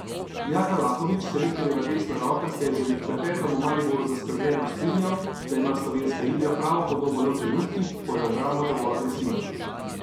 Jaka Lakovič, selektorjeva desna roka, se je že med klepetom v Mariboru zaskrbljeno strinjal, da ima slovenska igra pravo podobo le v trenutkih, ko je obramba dovolj agresivna.